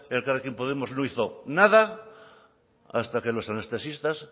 elkarrekin podemos no hizo nada hasta que los anestesistas